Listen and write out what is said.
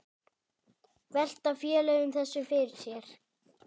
Velta félögin þessu fyrir sér?